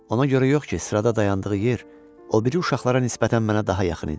Ona görə yox ki, sırada dayandığı yer o biri uşaqlara nisbətən mənə daha yaxın idi.